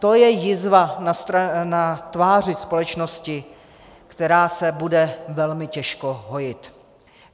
To je jizva na tváři společnosti, která se bude velmi těžko hojit.